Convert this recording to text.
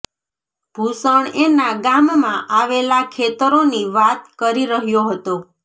ભૂષણ એના ગામમાં આવેલા ખેતરોની વાત કરી રહ્યો હતો